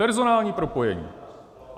Personální propojení.